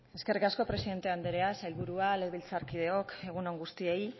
eskerrik asko presidente anderea sailburua legebiltzarkideok egun on guztioi